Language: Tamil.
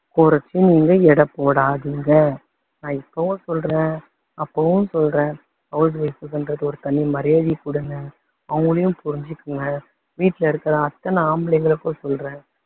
குறைச்சு நீங்க எடை போடாதீங்க. நான் இப்பவும் சொல்றேன் அப்பவும் சொல்றேன் house wife ன்றதுக்கு தனி மரியாதையை கொடுங்க, அவங்களையும் புரிஞ்சுக்கோங்க, வீட்டுல இருக்குற அத்தனை ஆம்பளைங்களுக்கும் சொல்றேன்